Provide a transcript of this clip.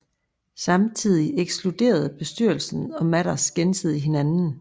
Samtidig ekskluderede bestyrelsen og Mathers gensidigt hinanden